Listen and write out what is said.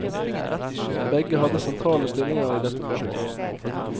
Begge hadde sentrale stillinger i dette prosjektet.